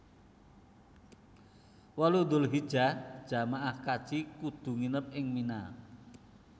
wolu Dzulhijjah jamaah kaji kudu nginep ing Mina